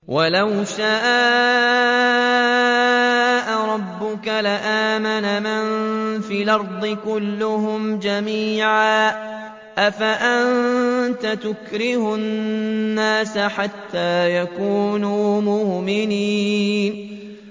وَلَوْ شَاءَ رَبُّكَ لَآمَنَ مَن فِي الْأَرْضِ كُلُّهُمْ جَمِيعًا ۚ أَفَأَنتَ تُكْرِهُ النَّاسَ حَتَّىٰ يَكُونُوا مُؤْمِنِينَ